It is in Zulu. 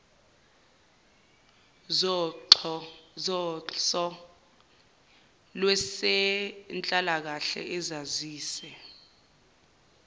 zoxhso lwezenhlalakahle azise